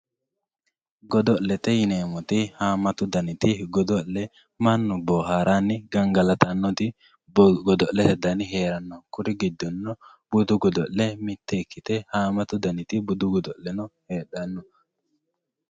Godo`lete yineemoti haamatu daniti godo`le mannu booharani gangalatanoti godo`lete dani heerano kuri gindonio buddu godo`le mitto ikite haamatu danitino budu godo`le no heedhano.